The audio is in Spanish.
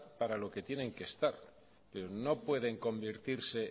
para lo que tienen que estar pero no pueden convertirse